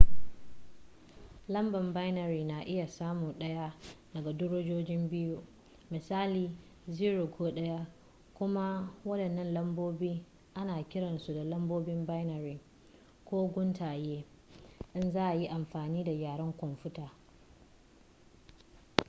lambar binary na iya samun ɗaya daga darajoji biyu misali 0 ko 1 kuma waɗannan lambobin ana kiransu da lambobin binary ko guntaye in za a yi amfani da yaren kwamfuta